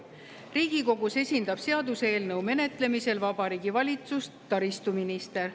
Riigikogus esindab seaduseelnõu menetlemisel Vabariigi Valitsust taristuminister.